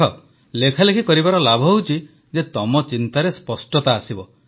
ଦେଖ ଲେଖାଲେଖି କରିବାର ଲାଭ ହେଉଛି ଯେ ତମ ଚିନ୍ତାରେ ସ୍ପଷ୍ଟତା ଆସିବ